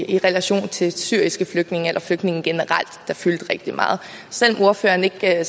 i relation til syriske flygtninge eller flygtninge generelt der fyldte rigtig meget selv om ordføreren ikke sad